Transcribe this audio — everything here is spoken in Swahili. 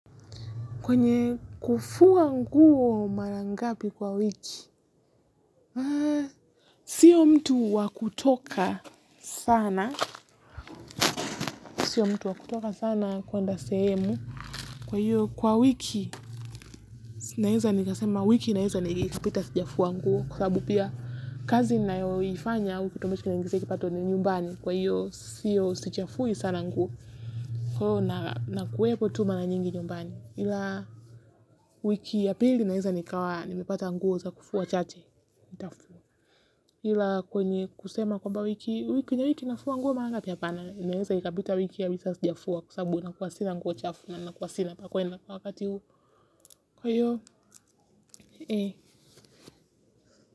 Kwenye kufuwa nguo marangapi kwa wiki, sio mtu wakutoka sana, sio mtu wakutoka sana kuenda semu, kwa hiyo kwa wiki, naweza nikasema wiki naweza nipita kama sijafua nguo kwa sababu kazi ninayoifanya kwa hivyo usichafue sana nguo wiki ya pili naweza nikawa, nimepata nguo za kufua chache. Ila kwenye kusema kwamba wiki hii inafua nguo mara ngapi inaweza kupita wiki kwa sababu huwa sina nguo chafu na huwa sina pa kuenda wakati huo.